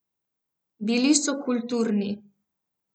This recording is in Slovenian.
Bili so kulturni.